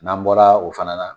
N'an bɔra o fana na